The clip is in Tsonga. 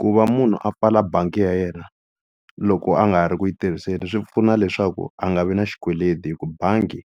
ku va munhu a pfala bangi ya yena loko a nga ha ri ku yi tirhiseni swi pfuna leswaku a nga vi na xikweleti hi ku bangi